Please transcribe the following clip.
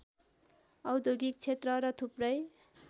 औद्योगिक क्षेत्र र थुप्रै